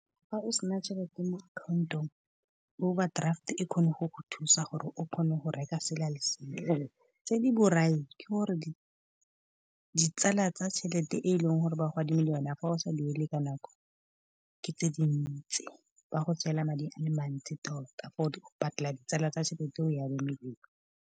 Fa o sena tšhelete mo account-ong, overdraft e kgone go go thusa gore o kgone go reka sela le sela. Tse di borai ke gore di tsala tsa tšhelete e leng gore ba go adimile yone, fa o sa duele ka nako ke tse dintsi, ba go tseela madi a le mantsi tota, for go patela ditsala tsa tšhelete e o e adimileng.